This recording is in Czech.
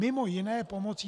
Mimo jiné pomocí